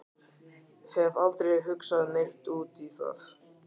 Hef aldrei hugsað neitt út í það.